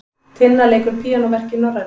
Tinna leikur píanóverk í Norræna